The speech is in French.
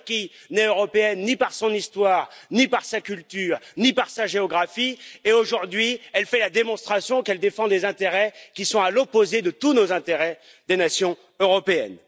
La Turquie n'est européenne ni par son histoire, ni par sa culture, ni par sa géographie et, aujourd'hui, elle fait la démonstration qu'elle défend des intérêts qui sont à l'opposé de tous nos intérêts des nations européennes.